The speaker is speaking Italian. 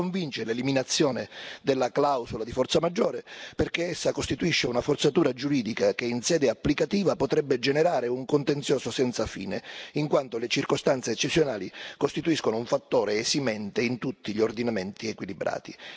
Non mi convince l'eliminazione della clausola di forza maggiore, perché essa costituisce una forzatura giuridica che in sede applicativa potrebbe generare un contenzioso senza fine, in quanto le circostanze eccezionali costituiscono un fattore esimente in tutti gli ordinamenti equilibrati.